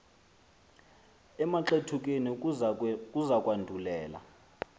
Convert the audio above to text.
emaxethukeni kuza kwandulela